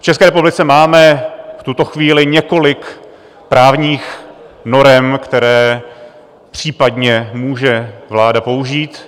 V České republice máme v tuto chvíli několik právních norem, které případně může vláda použít.